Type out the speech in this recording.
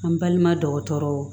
An balima dɔgɔtɔrɔw